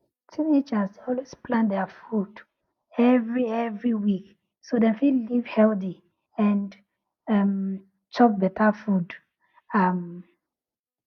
teenagers dey always plan their food every every week so dem fit live healthy and um chop better um